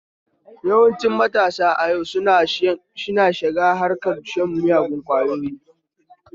Yawancin matasa a yau suna shiga harkar shan miyagun ƙwayoyi